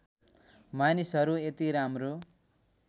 मानिसहरू यति राम्रो